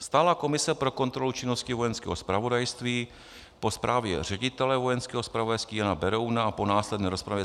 Stálá komise pro kontrolu činnosti Vojenského zpravodajství po zprávě ředitele vojenského zpravodajství Jana Berouna a po následné rozpravě